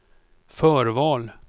förval